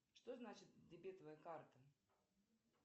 что значит дебетовая карта